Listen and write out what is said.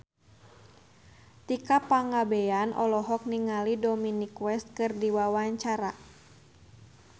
Tika Pangabean olohok ningali Dominic West keur diwawancara